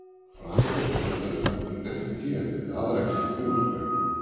Framan af blandaði kötturinn ekki geði við aðra ketti í úthverfinu.